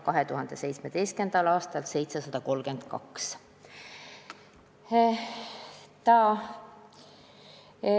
2017. aastal oli neid 732.